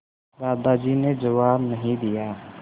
दादाजी ने जवाब नहीं दिया